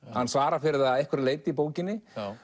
hann svarar fyrir það að einhverju leyti í bókinni